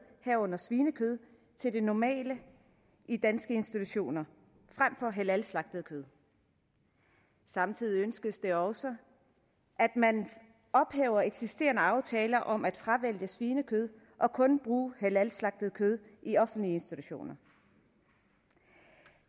herunder svinekød til det normale i danske institutioner frem for halalslagtet kød samtidig ønskes det også at man ophæver eksisterende aftaler om at fravælge svinekød og kun bruge halalslagtet kød i offentlige institutioner